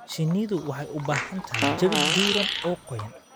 Shinnidu waxay u baahan tahay jawi diiran oo qoyan.